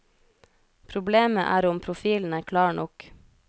Problemet er om profilen er klar nok.